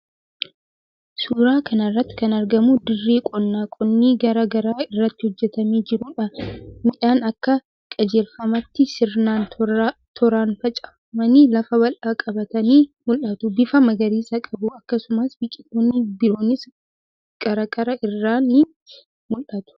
Suuraa kana irratti kan argamu dirree qonnaa qonni garaa garaa irratti hojjetamee jiruudha. Midhaan akka qajeelfamaatti sirnaan tooraan facaafamanii lafa bal'aa qabatanii mul'atu. Bifa magariisa qabu. Akkasumas biqiltoonni biroonis qarqara irraan ni mul'atu.